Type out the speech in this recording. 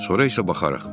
Sonra isə baxarıq.